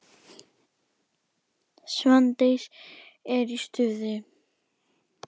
Svandís er í stuði.